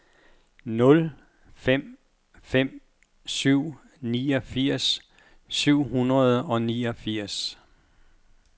nul fem fem syv niogfirs syv hundrede og niogfirs